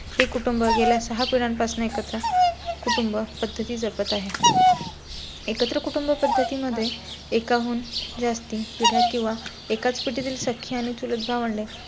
हे कुटुंब गेल्या सहा पिढ्यांपासून एकत्र. कुटुंब पद्धती जपत आहे. एकत्र कुटुंब पद्धती मध्ये एकाहून जास्ती पिढ्या किंवा एकाच पिढी तील सख्खी आणि चुलत भावंडे,